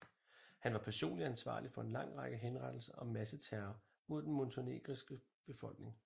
Han var personligt ansvarlig for en lang række henrettelser og masseterror mod den montenegrinske befolkning